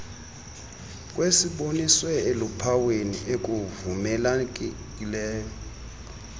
kwesiboniswe eluphawini ekuvumelekileyo